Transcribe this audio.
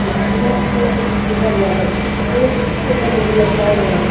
उम् दीवाल बोर्ड पर कुछ लिखा गया है दो शुबल लतकाय गये हैं।